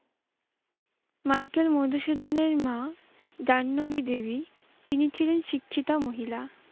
Michael মধুসূদনের মা জাহ্নবী দেবী, তিনি ছিলেন শিক্ষিতা মহিলা।